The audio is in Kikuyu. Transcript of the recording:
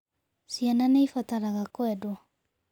Ciana nĩ ibataraga kwendwo.